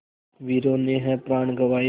वीरों ने है प्राण गँवाए